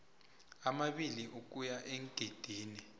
amabili ukuya eengidini